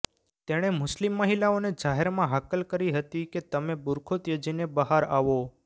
તેણે મુસ્લિમ મહિલાઓને જાહેરમાં હાકલ કરી હતી કે તમે બૂરખો ત્યજીને બહાર આવો